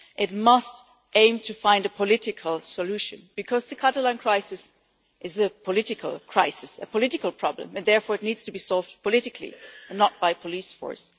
It must aim to find a political solution, because the Catalan crisis is a political crisis, a political problem and therefore it needs to be solved politically, not by police force.